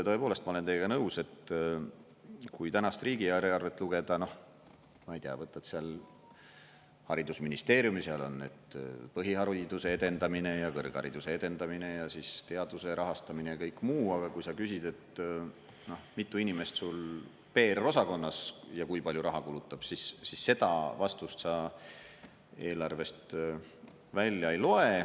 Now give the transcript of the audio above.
Tõepoolest, ma olen teiega nõus, et kui tänast riigieelarvet lugeda, ma ei tea, võtad seal haridusministeeriumi, seal on on põhihariduse edendamine ja kõrghariduse edendamine ja teaduse rahastamine ja kõik muu, aga kui sa küsid, et mitu inimest sul PR-osakonnas ja kui palju raha kulutab, siis seda vastust sa eelarvest välja ei loe.